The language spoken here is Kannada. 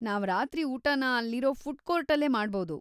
ನಾವ್ ರಾತ್ರಿ ಊಟನ ಅಲ್ಲಿರೋ ಫುಡ್‌ ಕೋರ್ಟಲ್ಲೇ ಮಾಡ್ಬೌದು.